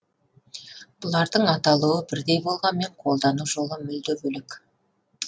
бұлардың аталуы бірдей болғанмен қолдану жолы мүлде бөлек